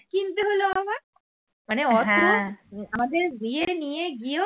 আমাদের দিয়ে নিয়ে গিয়েও